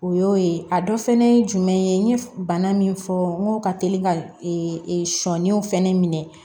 O y'o ye a dɔ fɛnɛ ye jumɛn ye n ye bana min fɔ n ko ka teli ka sɔnenw fɛnɛ minɛ